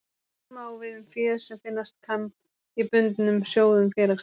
Sama á við um fé sem finnast kann í bundnum sjóðum félagsins.